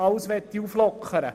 Uns geht es aber nicht darum.